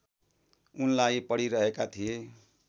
उनलाई पढिरहेका थिए